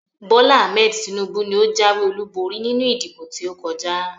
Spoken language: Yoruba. Bola Ahmed Tinubu ni ó jáwé olúborí nínú ìdìbò tí ó kọjá